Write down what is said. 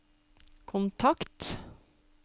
kontakt